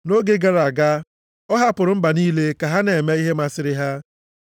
Nʼoge gara aga, ọ hapụrụ mba niile ka ha na-eme ihe masịrị ha.